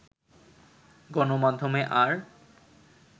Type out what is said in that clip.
গণমাধ্যমে আর